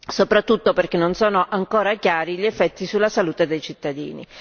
soprattutto perché non sono tuttora chiari gli effetti sulla salute dei cittadini.